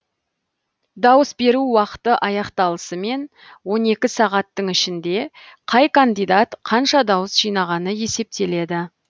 дауыс беру уақыты аяқталысымен он екі сағаттың ішінде қай кандидат қанша дауыс жинағаны есептеледі